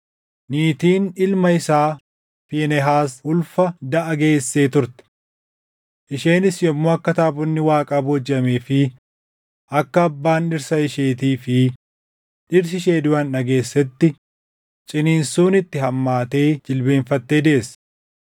Niitiin ilma isaa Fiinehaas ulfa daʼa geesse turte. Isheenis yommuu akka taabonni Waaqaa boojiʼamee fi akka abbaan dhirsa isheetii fi dhirsi ishee duʼan dhageessetti ciniinsuun itti hammaatee jilbeenfattee deesse.